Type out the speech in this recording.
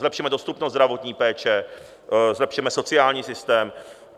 Zlepšeme dostupnost zdravotní péče, zlepšeme sociální systém.